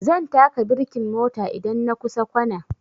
Zan taka birkin mota idan na kusa kwana